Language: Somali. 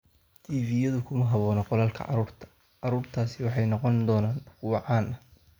TV-yadu kuma habboona qolalka carruurta"Caruurtaasi waxay noqon doonaan kuwo caan ah.